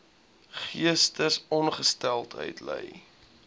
geestesongesteldheid ly